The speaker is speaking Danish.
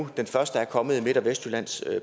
og den første er kommet i midt og vestjyllands